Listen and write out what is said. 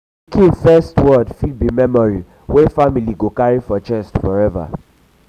pikin first word fit be memory wey family go carry for chest forever.